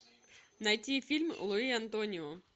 найти фильм луи антонио